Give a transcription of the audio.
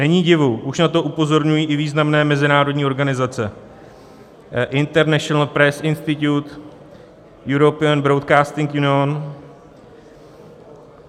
Není divu, už na to upozorňují i významné mezinárodní organizace, International Press Institute, European Broadcasting Union.